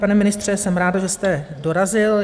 Pane ministře, jsem ráda, že jste dorazil.